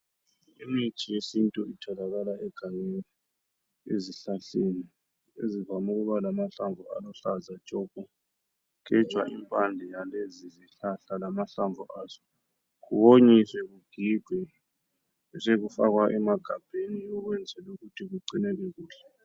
Imithi yesintu itholakala egangeni ezihlahleni ezivame ukuba amahlamvu aluhlaza tshoko, kugejwa impande yalezi zihlahla lamahlamvu azo, kuwonyiswe kugigwe bese kufakwa emagabheni ukwenzela ukuthi kugcineke kuhle.